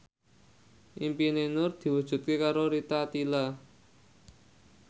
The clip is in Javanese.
impine Nur diwujudke karo Rita Tila